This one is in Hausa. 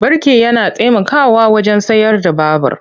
Birki yana taimakawa wajen tsayar da babur.